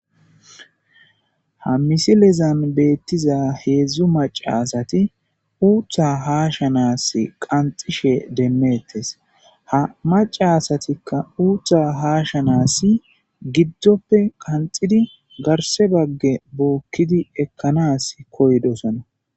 Ha misile diza hedzdzu maca asati uutha hashanasi qanxishe demetes, ha maca asatika uutha hasahansa gippoe qanxidi garse baga bookidi ekana koyidosona